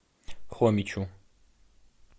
хомичу